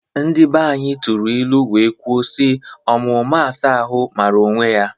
Ndi banyi tụrụ ilu wee kwuo si: Ọma ụma asa ahụ mara onwe ya!